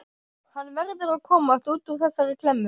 Hann verður að komast út úr þessari klemmu.